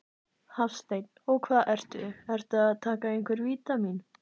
Hafsteinn: Og hvað ertu, ertu að taka einhver vítamín?